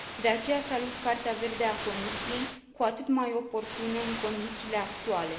De aceea salut Cartea verde a Comisiei, cu atât mai oportună în condițiile actuale.